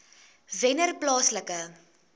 wennerplaaslike